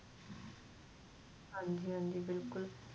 ਹਾਂਜੀ ਹਾਂਜੀ ਬਿਲਕੁੱਲ